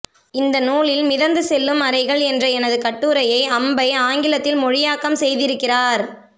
இந்த நூலில் மிதந்து செல்லும் அறைகள் என்ற எனது கட்டுரையை அம்பை ஆங்கிலத்தில் மொழியாக்கம் செய்திருக்கிறார்